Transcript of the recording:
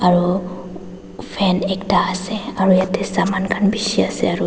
aru fan ekta ase aru yeti saman khan bishi ase aru--